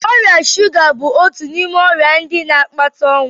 Ọrịa shụga bụ otu n'ime ọrịa ndị na-akpata ọnwụ.